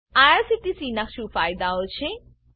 IRCTC નાં શું ફાયદાઓ છે